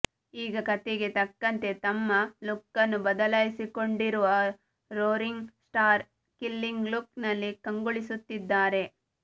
ಈಗ ಕತೆಗೆ ತಕ್ಕಂತೆ ತಮ್ಮ ಲುಕ್ಕನ್ನು ಬದಲಾಯಿಸಿಕೊಂಡಿರುವ ರೋರಿಂಗ್ ಸ್ಟಾರ್ ಕಿಲ್ಲಿಂಗ್ ಲುಕ್ ನಲ್ಲಿ ಕಂಗೊಳಿಸುತ್ತಿದ್ದಾರೆ